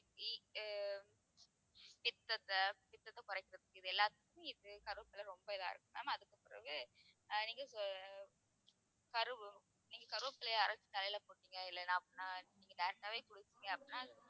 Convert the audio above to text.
ஆஹ் பித்தத்தை பித்தத்தை குறைக்கிறது இது எல்லாத்துக்குமே இது கருவேப்பிலை ரொம்ப இதா இருக்கும் ma'am அதுக்குப் பிறகு ஆஹ் நீங்க கரு நீங்க கருவேப்பிலையை அரைச்சு தலையிலே போட்டீங்க இல்லைன்னா அப்படின்னா நீங்க direct ஆவே குளிச்சீங்க அப்படின்னா